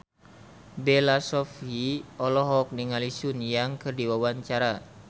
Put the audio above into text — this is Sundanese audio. Bella Shofie olohok ningali Sun Yang keur diwawancara